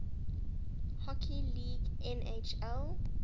hockey league nhl